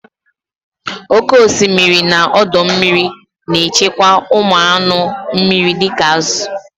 Oke osimiri na ọdọ mmiri na-echekwa ụmụ anụ mmiri dị ka azụ